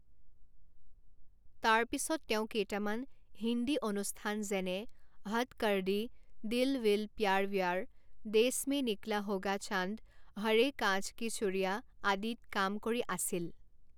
তাৰ পিছত তেওঁ কেইটামান হিন্দী অনুষ্ঠান যেনে হদ্ কৰ দি, দিল ভিল প্যাৰ ভ্যাৰ, দেছ মে নিকলা হোগা চান্দ, হৰে কাঁচ কি চুড়িয়াঁ আদিত কাম কৰি আছিল।